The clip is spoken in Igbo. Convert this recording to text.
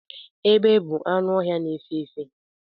Egbe bụ anụ ọhịa na efe efe